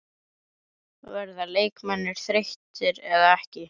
Verða leikmennirnir þreyttir eða ekki?